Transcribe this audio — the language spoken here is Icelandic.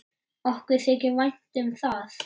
Okkur þykir vænt um það.